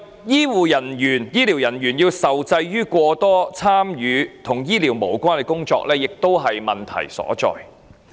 此外，醫療人員受制於過多參與與醫療無關的工作，亦是問題所在。